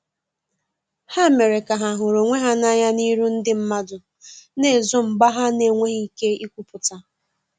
Ha mere ka ha huru onwe ha na anya n'iru ndi madu na ezo mgba ha n'enweghi ike ikwuputa.